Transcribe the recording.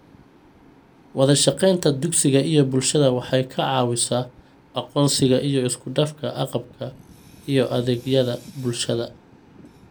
Wadashaqeynta dugsiga iyo bulshada waxay ka caawisaa aqoonsiga iyo isku dhafka agabka iyo adeegyada bulshada.